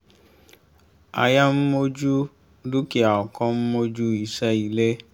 aya ń mojú dúkìá ọkọ ń mojú iṣẹ́ ilé